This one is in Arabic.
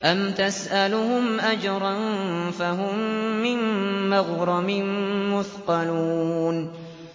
أَمْ تَسْأَلُهُمْ أَجْرًا فَهُم مِّن مَّغْرَمٍ مُّثْقَلُونَ